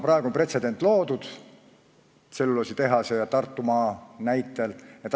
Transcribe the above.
Praeguseks on tselluloositehase ja Tartumaa näitel pretsedent loodud.